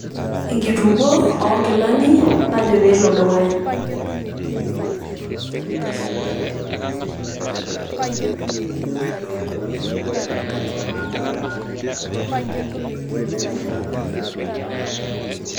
Enkitukuo oo inkilani najo pee elo dukuya.